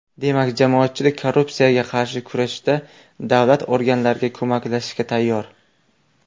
Demak, jamoatchilik korrupsiyaga qarshi kurashda davlat organlariga ko‘maklashishga tayyor.